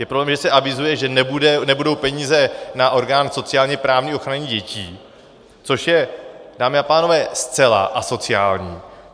Je problém, že se avizuje, že nebudou peníze na orgán sociálně-právní ochrany dětí, což je, dámy a pánové, zcela asociální.